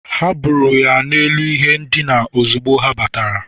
ha buuru ya n’elu ihe ndina ozugbo ha batara.